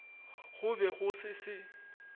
go be go se se